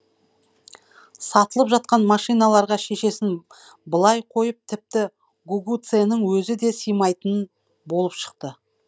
сатылып жатқан машиналарға шешесін былай қойып тіпті гугуцэнің өзі де сыймайтын болып шықты